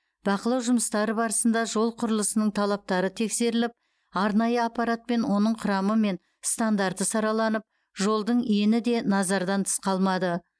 бақылау жұмыстары барысында жол құрылысының талаптары тексеріліп арнайы аппаратпен оның құрамы мен стандарты сараланып жолдың ені де назардан тыс қалмады